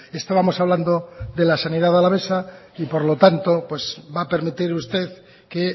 estábamos hablando de la sanidad alavesa y por lo tanto va a permitir usted que